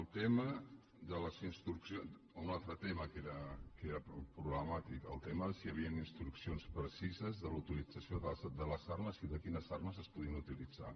el tema de les instruccions un altre tema que era pro·blemàtic el tema de si havien instruccions precises de la utilització de les armes i de quines armes es podien utilitzar